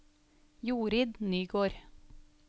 Jorid Nygård